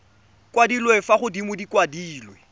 kwadilwe fa godimo di kwadilwe